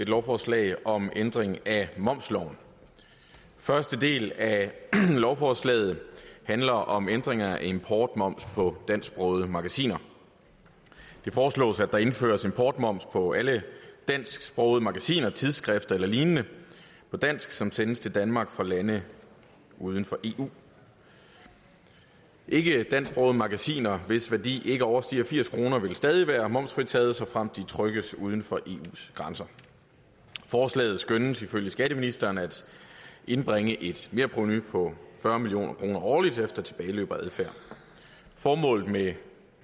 lovforslag om ændring af momsloven første del af lovforslaget handler om ændring af importmoms på dansksprogede magasiner det foreslås at der indføres importmoms på alle dansksprogede magasiner tidsskrifter eller lignende på dansk som sendes til danmark fra lande uden for eu ikkedansksprogede magasiner hvis værdi ikke overstiger firs kr vil stadig være momsfritaget såfremt de trykkes uden for eus grænser forslaget skønnes ifølge skatteministeren at indbringe et merprovenu på fyrre million kroner årligt efter tilbageløb og adfærd formålet med